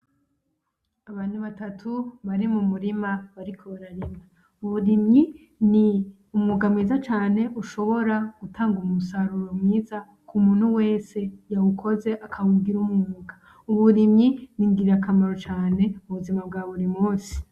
Abantu batatu bari mumurima bariko bararima. Uburimyi ni umwuga mwiza cane ushobora gutanga umusaruro mwiza kumutu wese yawukoze akawugira umwuga. Uburimyi ningirakamaro cane mubuzima bwa burimusi.